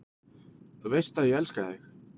Þú veist að ég elska þig.